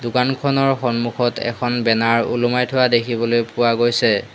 দোকানখনৰ সন্মূখত এখন বেনাৰ ওলোমাই থোৱা দেখিবলৈ পোৱা গৈছে।